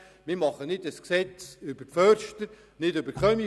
Wir machen kein Gesetz über Förster, Kaminfeger oder Hebammen.